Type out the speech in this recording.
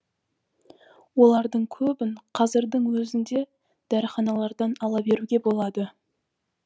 олардың көбін қазірдің өзінде дәріханалардан ала беруге болады